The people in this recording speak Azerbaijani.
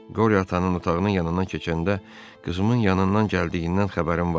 Qoryata ananın otağının yanından keçəndə qızımın yanından gəldiyindən xəbərim var.